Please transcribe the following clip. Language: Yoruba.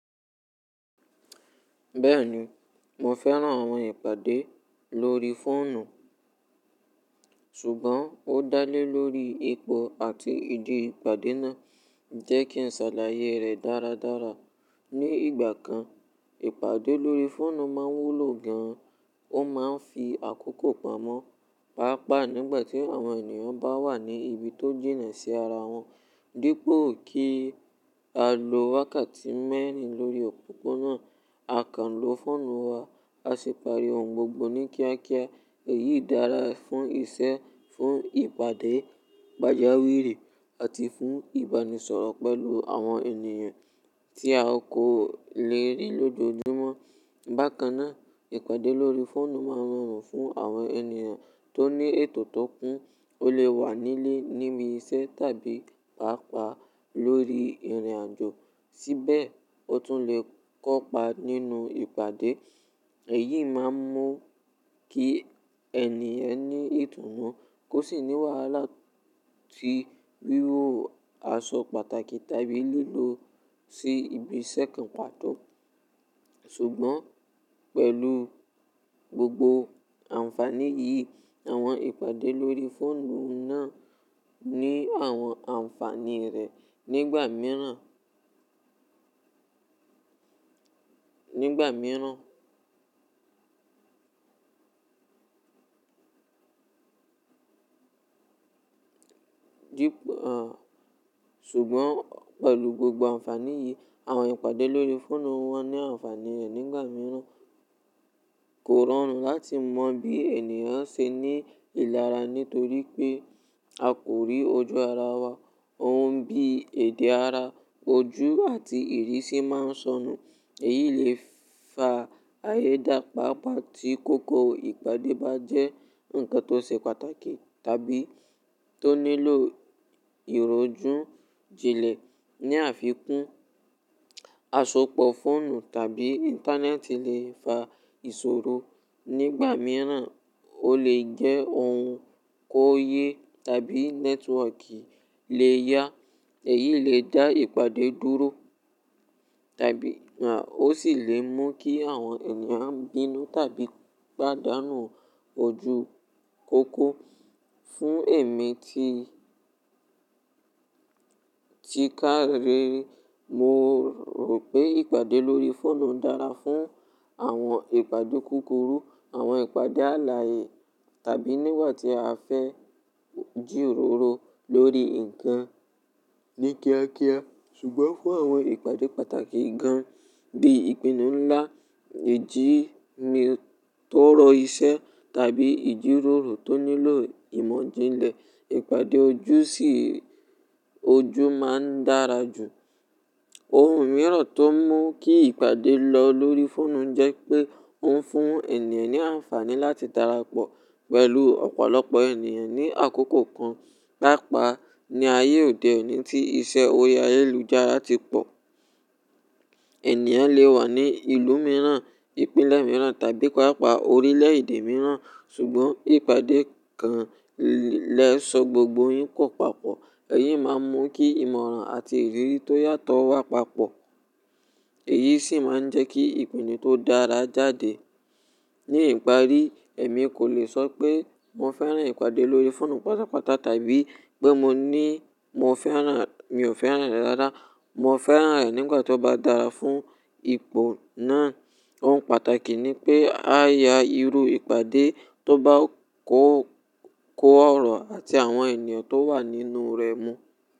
Bẹ́ẹ̀ni, mo fẹ́ran àwọn ìpàdé lórí fóònù, ṣùgbọ́n ó dá lé lórí ipò àti ìdí ìpàdé náà njẹ́ kí n ṣàlàyé rẹ dáradára. Ni ìgbà kan, ìpàdé lórí fóònù máa ń wúlò gan-an. Ó máa ń fi àkókò pamọ́, pàápàá nígbà tí àwọn ènìyàn bá wà ní ibi tó jìnà sí ara wọn. Dípo kí á lo wákàtí mẹ́rin lórí òpópónà àkàn lo fóònù wa, a ṣe pari òun gbogbo ní kíákíá. Èyí dára fún iṣẹ́, fún ìpàdé pajawiri àti fún ìbánisọ̀rọ̀ pẹ̀lú àwọn ènìyàn tí a kò lè rí lójoojúmọ́. Bákan náà, ìpàdé lórí fóònù máa ń rọrùn fún àwọn ènìyàn tó ní ètò tó kún. O lè wà nílé, níbi iṣẹ́ tàbí pàápàá lórí ìrìnàjò, síbẹ̀ o tún lè kópa nínú ìpàdé. Èyí máa ń mú kí ènìyàn ní ètùnú kó sì ní wàhálà tí wíwo aṣọ pàtàkì tàbí lílò ó sí ibi iṣẹ́ kan pàtó. Ṣùgbọ́n pẹ̀lú gbogbo àǹfàní yìí, àwọn ìpàdé lórí fóònù náà ní àwọn àǹfàní rẹ̀ nígbà mìíràn. Dípo-- à, ṣùgbọ́n pẹ̀lú gbogbo àǹfàní yìí, àwọn ìpàdé lórí fóònù náà ní àwọn àǹfàní rẹ̀ nígbà mìíràn. Kò rọrùn láti mọ bí ènìyàn ṣe ní ìlara nítorí pé a kò rí ojú ara wa. Ohun bí èdè ara, ojú àti ìrísí máa ń sọnù. Èyí lè fa ààyè dàpaàpá tí kókó ìpàdé bá jẹ́ ǹkan tó ṣe pàtàkì tàbí tó nílò ìrojú jinlẹ̀. Ni àfikún, asopọ̀ fóònù tàbí Internet lè fa ìṣòro. Nígbà mìíràn, ó lè jẹ́ oun kóyè tàbí network lè yá. Èyí lè dá ìpàdé dúró tàbí à, ó sì lè mú kí àwọn ènìyàn bínú tàbí pádànù ojúkòkó. Fún èmi ti, tí kára mo rò pé ìpàdé lórí fóònù dára fún àwọn ìpàdé kúkúrú, àwọn ìpàdé àlàyé tàbí nígbà tí a fẹ́ jírórò lórí ǹkan ní kíákíá. Ṣùgbọ́n fún àwọn ìpàdé pàtàkì gan-an bíi ìpinnu ńlá, ìjímìtọ̀rọ̀ iṣẹ́ tàbí ìjíròrò tó nílò ìmọ̀ jinlẹ̀, ìpàdé ojú sí ojú máa ń dára jù. Oun mìíràn tó mú kí ìpàdé lọ lórí fóònù jẹ́ pé ó ń fún ènìyàn ní àǹfàní láti darapọ̀ pẹ̀lú ọ̀pọ̀lọpọ̀ ènìyàn ní àkókò kan. Pápa ní ayé òde òní tí iṣẹ́ orí ayélujára ti pọ̀, ènìyàn lè wà ní ìlú mìíràn, ìpínlẹ̀ mìíràn tàbí pàápàá orílẹ̀èdè mìíràn. Ṣùgbọ́n ìpàdé kan lè sọ gbogbo yín kó papọ̀. Èyí máa ń mú kí ìmọ̀ràn àti ìrírí tó yàtọ̀ wá papọ̀. Èyí sì máa ń jẹ́ kí ìpinnu tó dára jáde. Ni ìparí, èmi kò lè sọ pé mo fẹ́ran ìpàdé lórí fóònù pátápátá tàbí pé mo ní mo fẹ́ran rẹ̀, mi ò fẹ́ran rẹ̀ dáadáa. Mo fẹ́ran rẹ̀ nígbà tí ó bá dára fún ipò náà. Oun pàtàkì ni pé a yá irú ìpàdé tó bá kó, kó ọ̀rọ̀ àti àwọn ènìyàn tó wà nínú rẹ̀ mú.